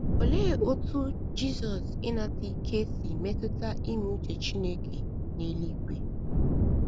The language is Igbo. Olee otú Jizọs ịnata ike si metụta ime uche Chineke n’eluigwe?